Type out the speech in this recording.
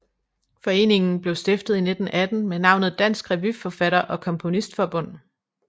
Foreningen blev stiftet i 1918 med navnet Dansk Revyforfatter og Komponistforbund